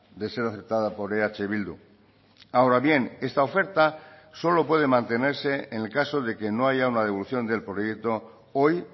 de ser aceptada por eh bildu ahora bien esta oferta solo puede mantenerse en el caso de que no haya una devolución del proyecto hoy